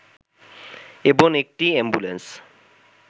এবং একটি অ্যাম্বুলেন্স